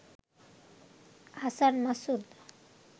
Hasan Masud